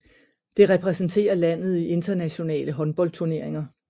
Det repræsenterer landet i internationale håndboldturneringer